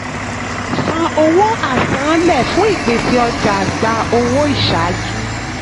san owó àsanánlẹ̀ fún ìpèsè ọjà; gba owó isàájú.